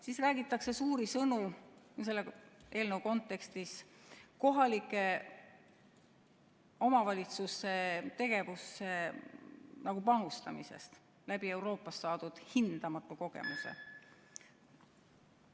Siis räägitakse suuri sõnu selle eelnõu kontekstis kohalike omavalitsuse tegevusse panustamisest Euroopast saadud hindamatu kogemusega.